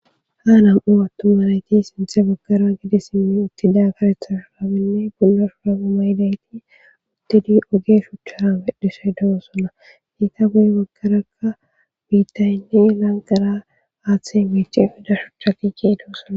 Ha nam'u attumanayti sinthe baggara gidi simmi uttida karethashunabinne bulla shura uma hidayti uttidi oge shuchchara medhishaydoo suna hiita guye baggarakka biittayinne ilaanqara aaththe meeche fida shuchchaki kee doo suna.